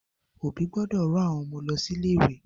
Òbí gbọ́dọ̀ rán Ọmọ lọ sí ilé ìwé